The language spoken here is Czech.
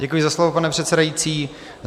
Děkuji za slovo, pane předsedající.